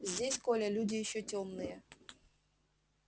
здесь коля люди ещё тёмные